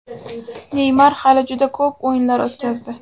Neymar hali juda ko‘p o‘yinlar o‘tkazdi.